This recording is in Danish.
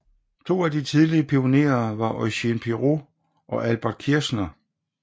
To af de tidlige pionerer var Eugène Pirou og Albert Kirchner